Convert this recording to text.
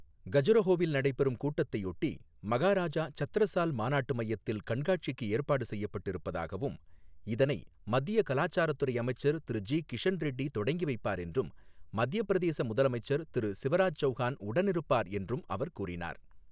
கஜுரஹோவில் நடைபெறும் கூட்டத்தையொட்டி, மகாராஜா சத்ரசால் மாநாட்டு மையத்தில் கண்காட்சிக்கு ஏற்பாடு செய்யப்பட்டு இருப்பதாகவும், இதனை மத்திய கலாச்சாரத்துறை அமைச்சர் திரு ஜி கிஷன் ரெட்டி தொடங்கி வைப்பார் என்றும் மத்தியப்பிரதேச முதலமைச்சர் திரு சிவராஜ் சௌகான் உடனிருப்பார் என்றும் அவர் கூறினார்.